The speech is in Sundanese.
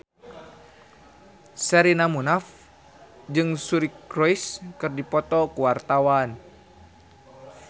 Sherina Munaf jeung Suri Cruise keur dipoto ku wartawan